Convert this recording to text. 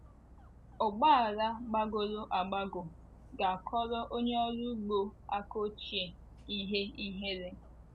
Ọgba ala gbagọrọ agbagọ ga - akọrọ onye ọrụ ugbo aka ochie ihe ihere.